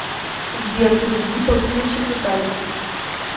сбер переведи полтинничек виталику